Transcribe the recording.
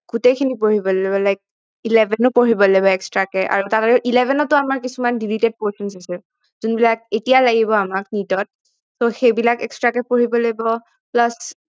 গোটেইখিনি পঢ়িব লাগিব like eleven ও পঢ়িব লাগিব extra কে আৰু eleven ত ও আমাৰ কিছুমান deleted portions আছে যোনবিলাক এতিয়া লাগিব আমাক NEET ত সেইবিলাক extra কে পঢ়িব লাগিব plus